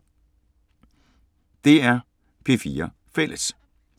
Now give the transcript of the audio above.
DR P4 Fælles